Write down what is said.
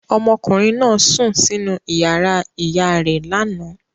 Ọmọkùnrin náà sùn sínú ìyàrá ìyá rẹ̀ lánàá.